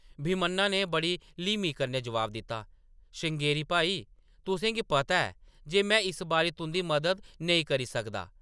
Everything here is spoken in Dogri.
भीमन्ना ने बड़ी ल्हीमी कन्नै जवाब दित्ता, “श्रृंगेरी भाई, तुसेंगी पता ऐ जे में इस बारी तुंʼदी मदद नेईं करी सकदा ।